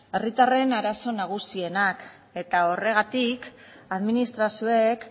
herritarren arazo nagusienak eta horregatik administrazioek